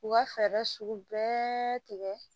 U ka fɛɛrɛ sugu bɛɛ tigɛ